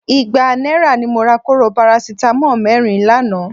Igba náírà ni mo ra kóró parasítámọ̀ mẹ́rin lánàá